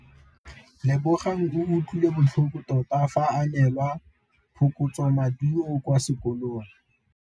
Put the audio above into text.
Lebogang o utlwile botlhoko tota fa a neelwa phokotsômaduô kwa sekolong.